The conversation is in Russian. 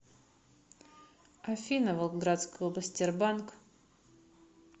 афина волгоградская область тербанк